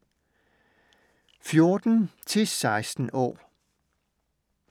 14-16 år